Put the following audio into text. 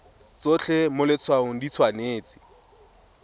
tsotlhe mo letshwaong di tshwanetse